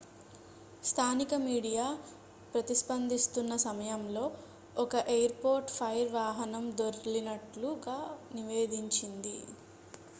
స్థానిక మీడియా ప్రతిస్పందిస్తున్నసమయంలో ఒక ఎయిర్ పోర్ట్ ఫైర్ వాహనం దొర్లినట్లు గా నివేదించింది